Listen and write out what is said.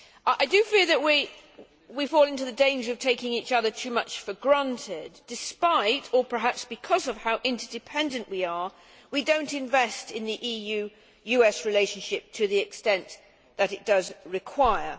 I do feel that we fall into the danger of taking each other too much for granted. Despite, or perhaps because of, how interdependent we are, we do not invest in the EU US relationship to the extent it requires.